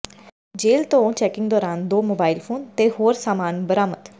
ਜੇਲ੍ਹ ਤੋਂ ਚੈਕਿੰਗ ਦੌਰਾਨ ਦੋ ਮੋਬਾਈਲ ਫੋਨ ਤੇ ਹੋਰ ਸਾਮਾਨ ਬਰਾਮਦ